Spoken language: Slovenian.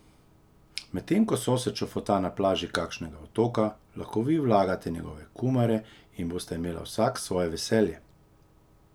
Medtem ko sosed čofota na plaži kakšnega otoka, lahko vi vlagate njegove kumare in bosta imela vsak svoje veselje!